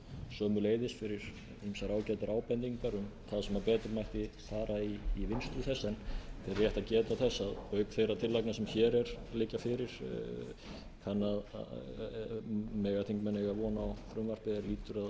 sömuleiðis fyrir ýmsar ágætar ábendingar um það sem betur mætti fara í vinnslu þess en rétt er að geta þess að auk þeirra tillagna sem hér liggja fyrir mega þingmenn eiga von á frumvarpi er lýtur að